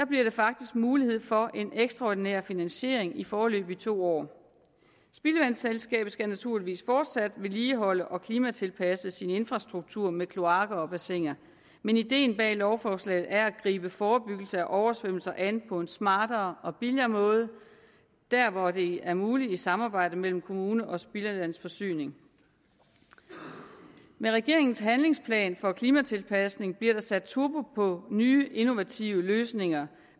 bliver der faktisk mulighed for en ekstraordinær finansiering i foreløbig to år spildevandsselskabet skal naturligvis fortsat vedligeholde og klimatilpasse sin infrastruktur med kloakker og bassiner men ideen bag lovforslaget er at gribe forebyggelse af oversvømmelser an på en smartere og billigere måde der hvor det er muligt i samarbejde mellem kommune og spildevandsforsyning med regeringens handlingsplan for klimatilpasning bliver der sat turbo på nye innovative løsninger